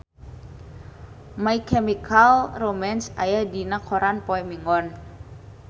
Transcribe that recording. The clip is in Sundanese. My Chemical Romance aya dina koran poe Minggon